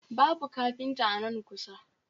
Babu kafinta a nan kusa